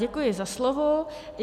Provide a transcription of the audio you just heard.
Děkuji za slovo.